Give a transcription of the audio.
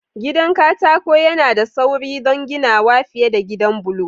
Gidan katako yana da sauri don ginawa fiye da gidan bulo.